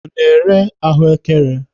Ọ na-ere ahụekere?